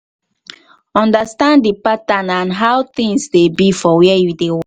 understand di pattern and how things dey be for where you dey